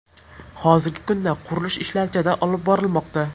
Hozirgi kunda qurilish ishlari jadal olib borilmoqda.